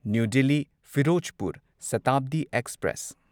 new Delhi Firozpur Shatabdi express